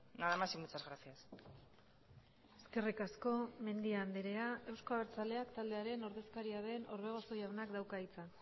nada más y muchas gracias eskerrik asko mendia andrea euzko abertzaleak taldearen ordezkaria den orbegozo jaunak dauka hitza